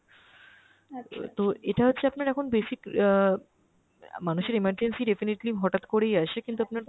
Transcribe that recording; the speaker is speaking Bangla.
তো এটা হচ্ছে আপনার এখন basic অ্যাঁ অ্যাঁ মানুষের emergency defiantly হটাত করেই আসে, কিন্তু আপনার